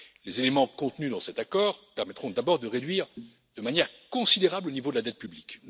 Les éléments contenus dans cet accord permettront d'abord de réduire de manière considérable le niveau de la dette publique.